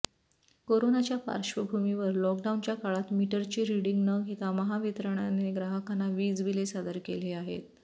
कोरोनाच्या पार्श्वभूमीवर लॉकडाऊनच्या काळात मीटरचे रीडिंग न घेता महावितरणने ग्राहकांना वीज बिले सादर केले आहेत